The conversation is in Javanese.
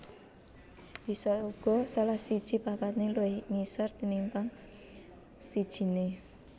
Bisa uga salah siji papané luwih ngisor tinimpang sijiné